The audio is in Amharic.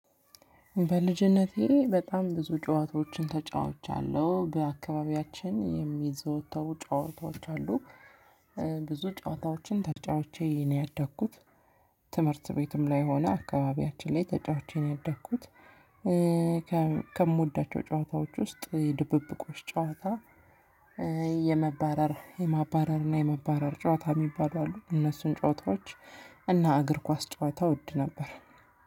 በልጅነቴ በጣም ብዙ ጨዋታዎችን ተጫውቻለሁ በአካባቢያችን የሚዘወተሩ ጫዋታዎች አሉ። ብዙ ጫዋታዎችን ተጫውቼ ነው ያደኩት። ትምህርት ቤትም ላይ ሆነ አካባቢያችን ላይ ተጫውቸ ነው ያደኩት። ከምወዳቸው ጨዋታዎች ውስጥ እየ ድብብቆሽ ጨዋታ። የመባረር የማባረር ና የመባረር ጨዋታ የሚባሉ አሉ እነሱን ጨዋታዎች እና እግር ኳስ ጨዋታ እወድ ነበር።